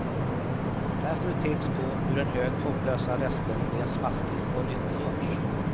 Här får du tips på hur en hög hopplösa rester blir en smaskig och nyttig lunch.